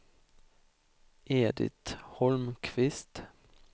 Edit Holmqvist